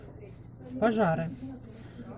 пожары